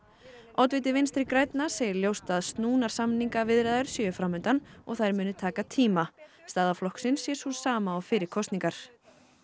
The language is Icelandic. oddviti Vinstri grænna segir ljóst að snúnar samningaviðræður séu fram undan og þær muni taka tíma staða flokksins sé sú sama og fyrir kosningar